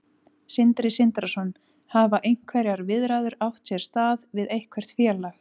Sindri Sindrason: Hafa einhverjar viðræður átt sér stað við eitthvert félag?